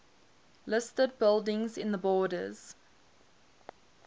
listed buildings in the borders